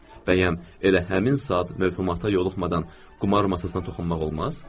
Bəyən, elə həmin saat mövhumata yoluxmadan qumar masasına toxunmaq olmaz?